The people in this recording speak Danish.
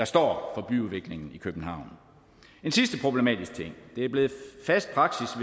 står for byudviklingen i københavn en sidste problematisk ting det er blevet fast praksis